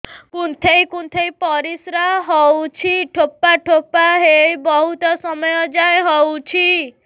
କୁନ୍ଥେଇ କୁନ୍ଥେଇ ପରିଶ୍ରା ହଉଛି ଠୋପା ଠୋପା ହେଇ ବହୁତ ସମୟ ଯାଏ ହଉଛି